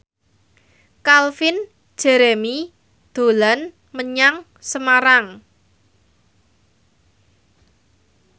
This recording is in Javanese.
Calvin Jeremy dolan menyang Semarang